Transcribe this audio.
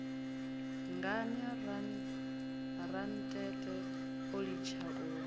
ngani rantete o litsha u